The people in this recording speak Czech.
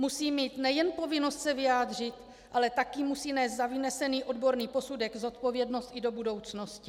Musí mít nejen povinnost se vyjádřit, ale taky musí nést za vynesený odborný posudek zodpovědnost i do budoucnosti.